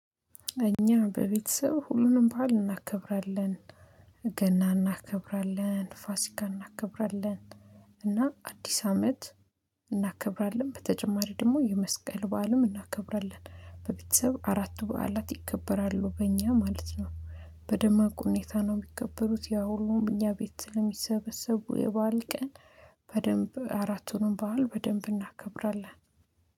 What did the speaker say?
እኛ በቤተሰብ ሁሉንም ባህል እናከብራለን ገና እናከብራለን ፋሲካ እናከብራለን እና አዲስ አመት። እናከብራለን በተጨማሪ ደግሞ የመስቀል በዓልም እናከብራለን በቤተሰብ አራቱ በዓላት ይከበራሉ በእኛ ማለት ነው። በደማቁ ሁኔታ ነው የሚቀበሉት ያው ሁሉም እኛ ቤት ለሚሰበሰቡ የበአል ቀን። በደንብ አራቱንም በዓል በደንብ እናከብራለን